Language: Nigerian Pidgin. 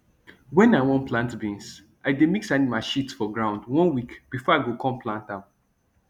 when i wan plant beans i dey mix animal shit for ground one week before i go come plant am